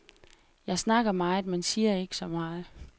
Jeg snakker meget, men siger ikke så meget.